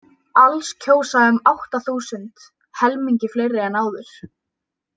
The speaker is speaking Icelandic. Alls kjósa um átta þúsund, helmingi fleiri en áður.